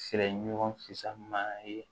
Fɛrɛ ɲɔgɔn fisamanya ye